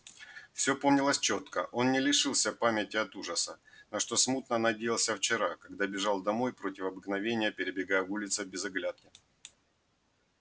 всё помнилось чётко он не лишился памяти от ужаса на что смутно надеялся вчера когда бежал домой против обыкновения перебегая улица без оглядки